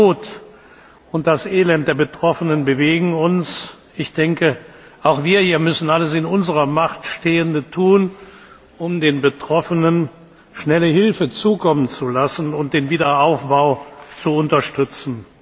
Die Not und das Elend der Betroffenen bewegen uns. Auch wir hier müssen alles in unserer Macht Stehende tun, um den Betroffenen schnelle Hilfe zukommen zu lassen und den Wiederaufbau zu unterstützen.